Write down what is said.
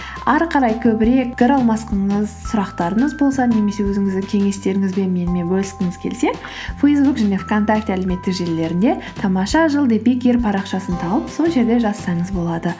ары қарай көбірек сұрақтарыңыз болса немесе өзіңіздің кеңестеріңізбен менімен бөліскіңіз келсе фейсбук және вконтакте әлеуметтік желілерінде тамаша жыл парақшасын тауып сол жерде жазсаңыз болады